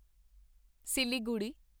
Siliguri